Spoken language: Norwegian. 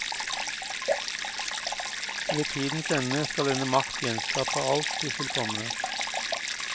Ved tidens ende skal denne makt gjenskape alt i fullkommenhet.